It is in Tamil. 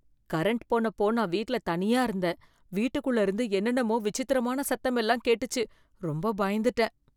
கரண்ட் போனப்போ நான் வீட்டுல தனியா இருந்தேன், வீட்டுக்குள்ள இருந்து என்னென்னமோ விசித்திரமான சத்தமெல்லாம் கேட்டுச்சு, ரொம்ப பயந்துட்டேன்